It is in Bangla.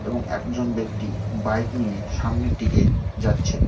এবং একজন ব্যক্তি বাইক নিয়ে সামনের দিকে যাচ্ছেন।